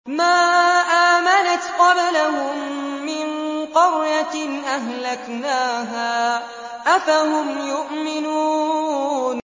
مَا آمَنَتْ قَبْلَهُم مِّن قَرْيَةٍ أَهْلَكْنَاهَا ۖ أَفَهُمْ يُؤْمِنُونَ